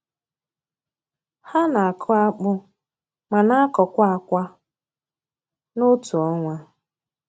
Ha na-akụ akpụ ma na-akọkwa akwa n’otu ọnwa.